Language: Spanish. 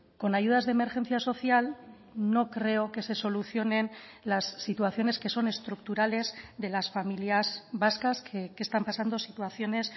con ayudas de emergencia social no creo que se solucionen las situaciones que son estructurales de las familias vascas que están pasando situaciones